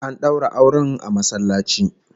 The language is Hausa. An daura auren masallaci